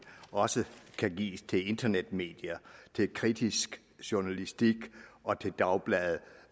også kan gives til internetmedier til kritisk journalistik og til dagblade